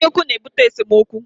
Anyaukwu na-ebute esemookwu